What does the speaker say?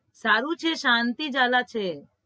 સારું છે શાંતિ જલા છે